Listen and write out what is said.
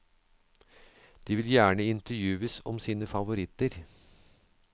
De vil gjerne intervjues om sine favoritter.